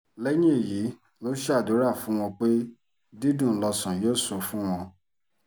lẹ́yìn èyí ló ṣàdúrà fún wọn pé dídùn lọ́sàn yóò sọ fún wọn